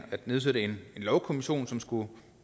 nedsætte en lovkommission som skulle